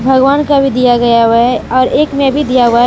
भगवान का भी दिया गया हुआ है और एक में भी दिया हुआ है।